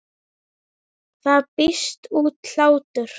Það brýst út hlátur.